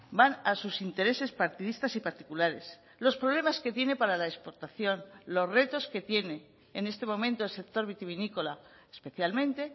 van a sus intereses partidistas y particulares los problemas que tiene para la exportación los retos que tiene en este momento el sector vitivinícola especialmente